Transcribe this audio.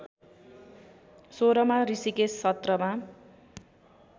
१६ मा ऋषिकेश सत्रमा